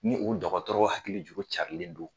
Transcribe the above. Ni u dɔgɔtɔrɔ hakili juru carilen do.